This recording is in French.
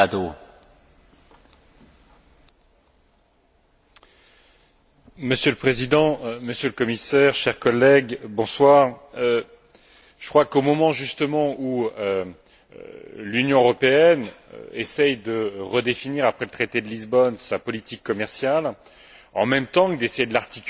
Monsieur le Président, Monsieur le Commissaire, chers collègues, je crois qu'au moment justement où l'Union européenne essaie de redéfinir, après le traité de Lisbonne, sa politique commerciale, en même temps que d'essayer de l'articuler avec sa politique industrielle, il faut saluer le fait que trois rapports arrivent